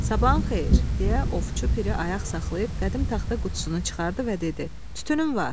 Sabahın xeyir, deyə ovçu Piri ayaq saxlayıb qədim taxta qutusunu çıxardı və dedi: Tütünüm var.